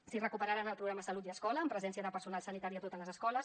i si recuperaran el programa salut i escola amb presència de personal sanitari a totes les escoles